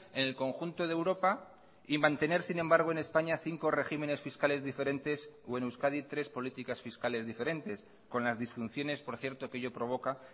en el conjunto de europa y mantener sin embargo en españa cinco regímenes fiscales diferentes o en euskadi tres políticas fiscales diferentes con las disfunciones por cierto que ello provoca